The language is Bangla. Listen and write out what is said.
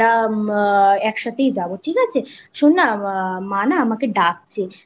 একসাথেই যাবো ঠিক আছে ? শোন না মা না আমাকে ডাকছে